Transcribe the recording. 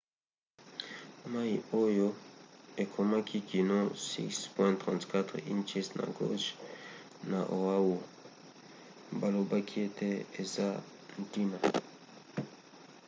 mai oyo ekomaki kino 6,34 inches na gauge na oahu balobaki ete eza ntina